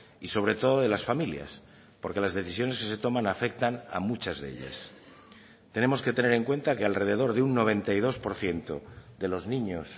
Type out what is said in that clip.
y sobre todo de las familias porque las decisiones que se toman afectan a muchas de ellas tenemos que tener en cuenta que alrededor de un noventa y dos por ciento de los niños